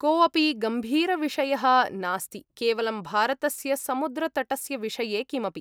कोऽपि गम्भीरविषयः नास्ति, केवलं भारतस्य समुद्रतटस्य विषये किमपि।